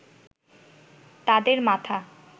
তাদের মাথা